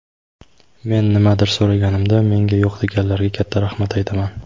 Men nimanidir so‘raganimda menga yo‘q deganlarga katta rahmat aytaman.